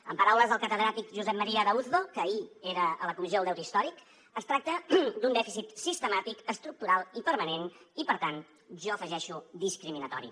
en paraules del catedràtic josep maria arauzo que ahir era a la comissió del deute històric es tracta d’un dèficit sistemàtic estructural i permanent i per tant jo hi afegeixo discriminatori